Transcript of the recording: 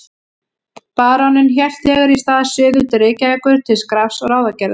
Baróninn hélt þegar í stað suður til Reykjavíkur til skrafs og ráðagerða.